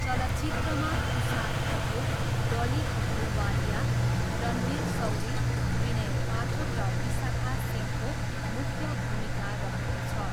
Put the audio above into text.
चलचित्रमा तुषार कपुर, डली अहलुवालिया, रणवीर शौरी, विनय पाठक र विसाखा सिंहको मुख्य भूमिका रहेको छ।